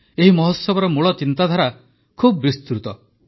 ଏହି ମହୋତ୍ସବର ମୂଳ ଚିନ୍ତାଧାରା ବହୁତ ବିସ୍ତୃତ